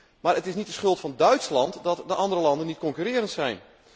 Het is echter niet de schuld van Duitsland dat de andere landen niet concurrerend zijn.